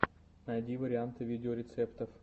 найди варианты видеорецептов